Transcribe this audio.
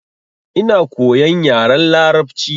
Ina koyan yaren larabci.